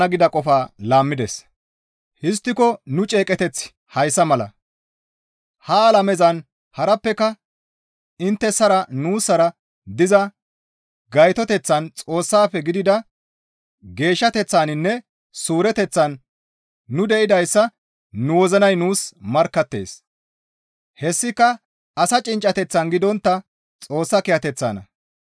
Histtiko nu ceeqeteththi hayssa mala; ha alamezan harappeka inttessara nuussara diza gaytoteththan Xoossafe gidida geeshshateththaninne suureteththan nu de7idayssa nu wozinay nuus markkattees; hessika asa cinccateththan gidontta Xoossa kiyateththanna.